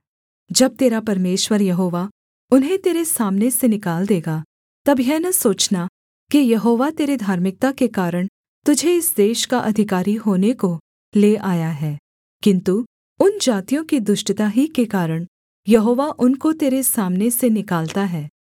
जब तेरा परमेश्वर यहोवा उन्हें तेरे सामने से निकाल देगा तब यह न सोचना कि यहोवा तेरे धार्मिकता के कारण तुझे इस देश का अधिकारी होने को ले आया है किन्तु उन जातियों की दुष्टता ही के कारण यहोवा उनको तेरे सामने से निकालता है